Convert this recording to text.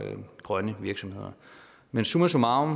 grønne virksomheder men summa summarum